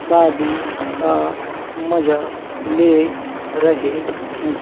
शादी का मजा ले रहे हैं।